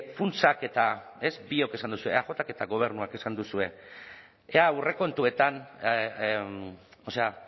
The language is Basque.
funtsak eta ez biok esan duzue eajk eta gobernuak esan duzue ea aurrekontuetan o sea